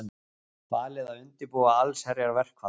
Falið að undirbúa allsherjarverkfall